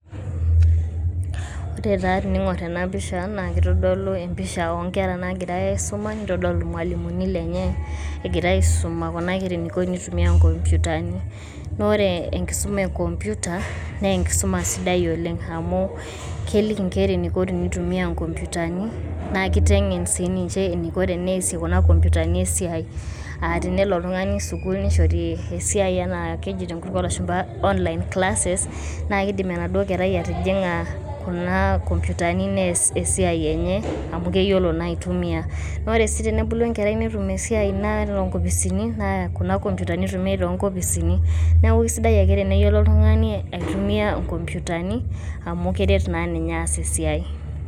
Ore taa tening`or ena pisha naa keitodolu e mpisha oo nkera naagira aisuma neitodolu ilmalimuni lenye, egirai aisuma kuna kera eniko te nitumia nkomputani. Naa ore enkisuma e computer naa enkisuma sidai oleng amu keliki nkera eniko tenitumia nkomputani naa kiteng`en sii ninche eniko teneasie kuna komputani esiai. Aah tenelo oltung`ani sukuul nishori esiai aa keji te nkutuk oo lashumpa online classes. Naa kidim enaduo kerai atijing`a kuna komputani neas esiai enye amu keyiolo naa aitumia. Naa ore sii tenebulu enkerai netum esiai naa nkopisini naa kuna komputani itumiyai tiatu nkopisini. Naiku eisidai ake teneyiolou oltung`ani aitumia nkomputani amu keret naa ninye aas esiai.